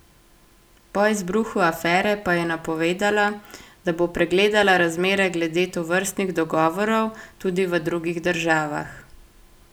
Po izbruhu afere pa je napovedala, da bo pregledala razmere glede tovrstnih dogovorov tudi v drugih državah.